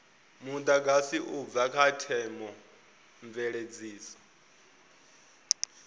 mudagasi u bva kha theomveledziso